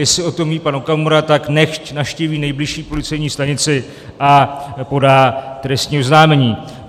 Jestli o tom ví pan Okamura, tak nechť navštíví nejbližší policejní stanici a podá trestní oznámení.